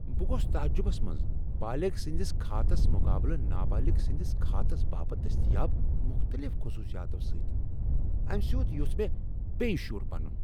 بہٕ گوس تعجبس منٛز بالغ سٕندِس کھاتس مقابلہٕ نابالغ سٕنٛدس کھاتس باپت دستیاب مختلف خصوصیاتو سۭتۍ ۔ امہ سۭتۍ یوژھ مےٚ بییہِ شُر بنُن ۔